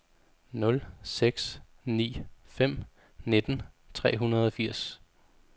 nul seks ni fem nitten tre hundrede og firs